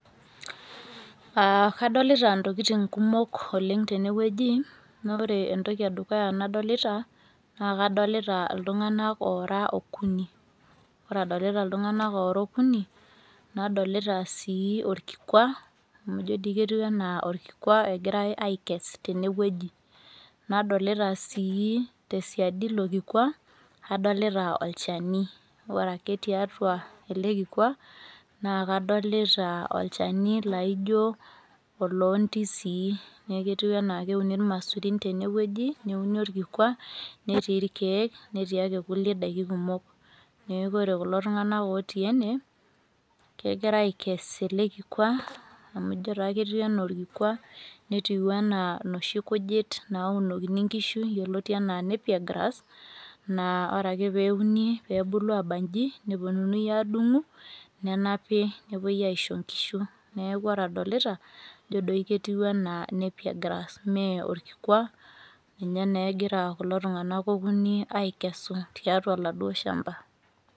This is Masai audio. [Aa] kadolita intokitin kumok oleng' tenewueji naaore entoki edukuya nadolita naa kadolita iltung'anak oora okuni. Ore adolita iltung'anak oora okuni nadolita sii orkikwa amu ijo dii ketiu anaa orkikwa egirai aikes tenewueji. Nadolita sii tesiadi ilokikwa, adolita olchani, ore ake tiatua ele kikwa naakadolita olchani laaijo oloondisii neakuetiu anaa keuni ilmasurin tenewueji neuni orkikwa netii irkeek, netii ake kulie daiki kumok neeku ore kulo tung'anak otii ene kegira aikes ele kikwa amu ijo taa ketiu anaolkikwa netiu anaa noshi kujit naaunokini nkishu yoloti anaa  nappier grass naa ore ake peeuni peebulu aba inji nepuonuni adung'u nenapi nepuoi aisho nkishu. Neaku ore adolita ijo doi ketiu anaa nappier grass mee orkikwa ninye neegira kulo tung'anak okuni aikesu tiatua laduo shamba.